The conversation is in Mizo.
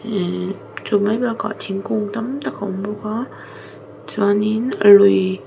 ihh chu mai bakah thingkung tam tak a awm bawk a chuanin lui--